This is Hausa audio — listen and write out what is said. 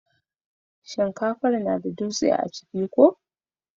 shinkafan na da dutse a ciki ko?